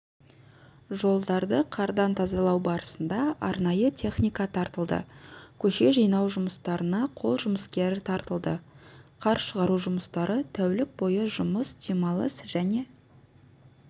жолдарды қардан тазалау барысында арнайы техника тартылды көше жинау жұмыстарына жол жұмыскері тартылды қар шығару жұмыстары тәулік бойы жұмыс демалыс және